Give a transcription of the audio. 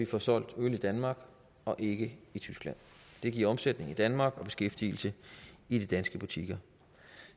får solgt øl i danmark og ikke i tyskland det giver omsætning i danmark og beskæftigelse i de danske butikker